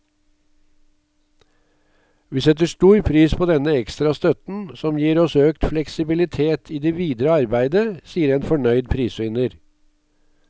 Vi setter stor pris på denne ekstra støtten, som gir oss økt fleksibilitet i det videre arbeidet, sier en fornøyd prisvinner.